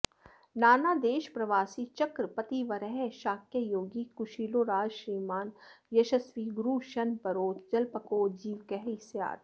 नानादेशप्रवासी च्रकपतिवरः शाक्ययोगी कुशीलो राजश्रीमान् यशस्वी गुरुरशनपरो जल्पको जीवकः स्यात्